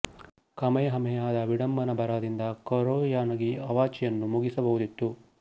Kamehameha ದ ವಿಡಂಬನ ಬರಹದಿಂದ ಕುರೊಯನಗಿ ಕವಾಚಿ ಅನ್ನು ಮುಗಿಸಬಹುದಿತ್ತು